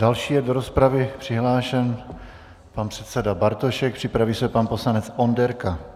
Další je do rozpravy přihlášen pan předseda Bartošek, připraví se pan poslanec Onderka.